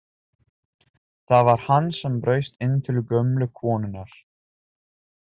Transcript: Það var hann sem braust inn til gömlu konunnar!